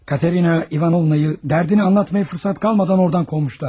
Katerina İvanovnanı dərdini danışmağa fürsət qalmadan oradan qovmuşlar.